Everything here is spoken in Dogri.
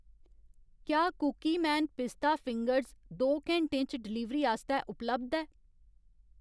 क्या कुकीमैन पिस्ता फिंगर्स दो घैंटें च डलीवरी आस्तै उपलब्ध ऐ?